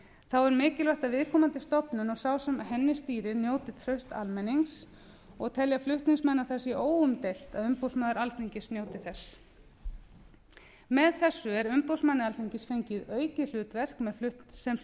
þá er mikilvægt að viðkomandi stofnun og sá sem henni stýrir njóti trausts almennings og telja flutningsmenn að það sé óumdeilt að umboðsmaður alþingis geti þess með þessu er umboðsmanni alþingis fengið aukið hlutverk sem